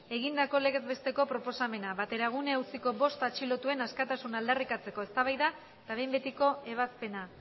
egindako legez besteko proposamena bateragune auziko bost atxilotuen askatasuna aldarrikatzeko eztabaida eta behin betiko ebazpena